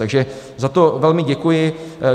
Takže za to velmi děkuji.